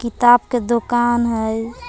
किताब के दोकान है।